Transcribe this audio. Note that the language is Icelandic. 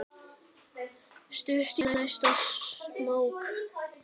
Stutt í næsta smók.